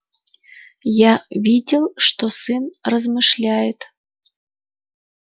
я видел что сын размышляет